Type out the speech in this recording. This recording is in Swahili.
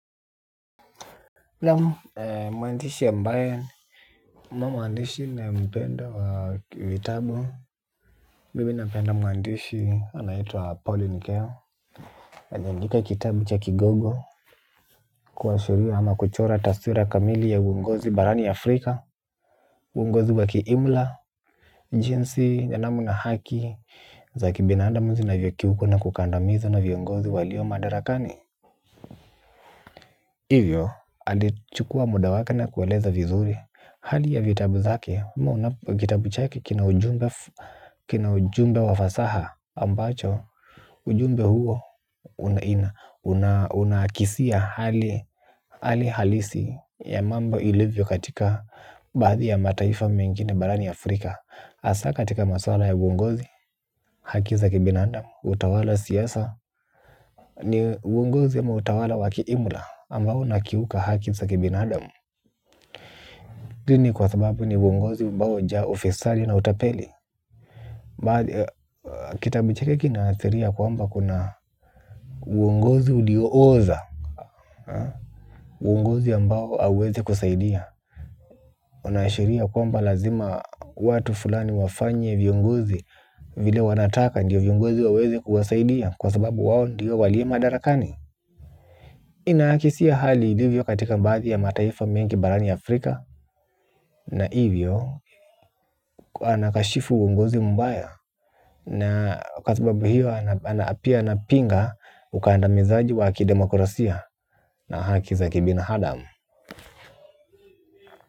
Na muandishi ya mbayen Mamo andishi na mpenda wa vitabo Mibi napenda muandishi anaitua pauline keo. Anjandika kitabu cha kigogo. Kwa shuriwa hama kuchora tasura kamili ya uungozi barani ya afrika. Uungozi wa kiimla. Njinsi janamu na haki za kibinaandamuzi na vyokiuko na kukandamizo na vyungozi walio madarakani hivyo alichukuwa muda wake na kueleza vizuri hali ya vitabu zake. Kitabu chake kina ujumbe kina ujumbe wafasaha ambacho ujumbe huo unakisia hali halisi ya mambo ilivyo katika baadhi ya mataifa mengine barani Afrika. Asa katika maswala ya uongozi haki za kibinadamu utawala siasa. Ni uongozi ama utawala waki imla ambao unakiuka haki za kibinadamu hii kwa sababu ni uongozi umbao nja ufisadi na utapeli. Kitabu chake kinaasiria kwamba kuna uongozi uliooza. Uongozi ambao auwezi kusaidia. Unaashiria kwamba lazima watu fulani wafanye viongozi vile wanataka ndiyo viongozi waweze kuwasaidia kwa sababu wawo ndiyo walie madarakani. Inaakisia hali ilivyo katika baadhi ya mataifa mengi barani ya Afrika. Na hivyo anakashifu uongozi mbaya. Na kwa sababu hiyo pia anapinga ukaanda mizaji wa ki demokrasia na haki za kibina hadam.